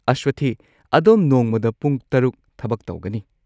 ꯑꯁꯋꯊꯤ, ꯑꯗꯣꯝ ꯅꯣꯡꯃꯗ ꯄꯨꯡ ꯶ ꯊꯕꯛ ꯇꯧꯒꯅꯤ꯫